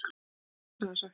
Blessaður, sæktu hann.